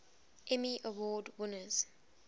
emmy award winners